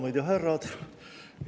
Daamid ja härrad!